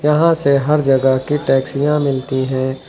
यहां से हर जगह की टैक्सियां मिलती है।